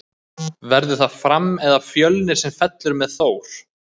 Verður það Fram eða Fjölnir sem fellur með Þór?